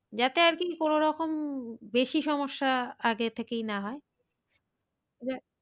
যাতে আর কি কোনো রকম বেশি সমস্যা আগে থেকেই না হয়।